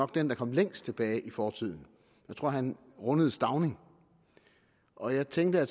den der kom længst tilbage i fortiden jeg tror han rundede stauning og jeg tænkte at